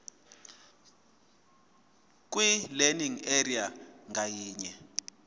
kwilearning area ngayinye